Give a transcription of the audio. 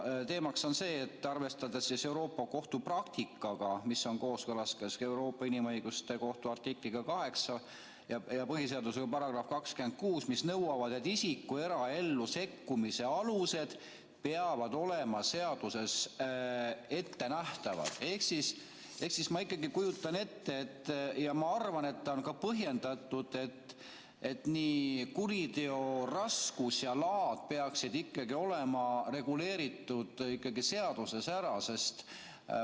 Teemaks on see, et arvestades Euroopa Liidu Kohtu praktikaga, mis on kooskõlas ka Euroopa Inimõiguste Kohtu artikliga 8 ja põhiseaduse §-ga 26, mis nõuavad, et isiku eraellu sekkumise alused peavad olema seaduses ettenähtavad, siis ma kujutan ette, ja ma arvan, et on ka põhjendatud, et nii kuriteo raskus ja laad peaksid olema reguleeritud seaduses ikkagi ära.